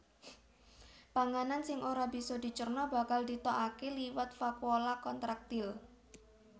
Panganan sing ora bisa dicerna bakal ditokaké liwat vakuola kontraktil